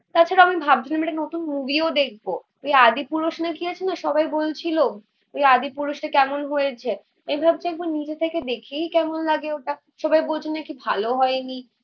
তাছাড়া আমি ভাবছিলাম একটা নতুন মুভি ও দেখবো. ওই আদি পুরুষ না কি আছে না সবাই বলছিলো. ওই আদি পুরুষটা কেমন হয়েছে? এভাবে তো একবার নিজে থেকে দেখেই কেমন লাগে ওটা. সবাই বলছে নাকি ভালো হয় নি